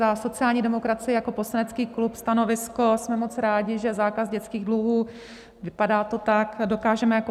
Za sociální demokracii jako poslanecký klub stanovisko: jsme moc rádi, že zákaz dětských dluhů, vypadá to tak, dokážeme jako